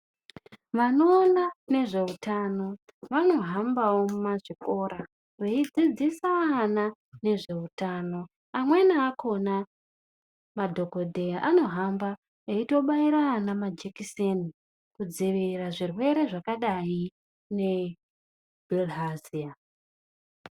Vanoona nezveutano vanohambawo mumazvikora veidzidzisa ana ngezveutano. Amweni akhona madhokodheya anohamba eitobaira ana majekiseni kudziirira zvirwere zvakadayi ngebhirihaziya.